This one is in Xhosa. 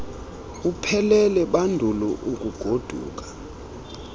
uphele bandulu ukugoduka